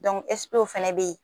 Dɔnku ɛsipew fɛnɛ be yen